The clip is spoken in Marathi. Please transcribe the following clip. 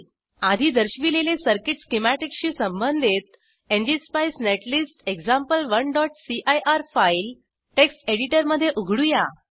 आधी दर्शविलेले सर्किट स्किमॅटिकशी संबंधित एनजीएसपाईस नेटलिस्ट example1सीआयआर फाईल टेक्स्ट एडिटरमध्ये उघडूया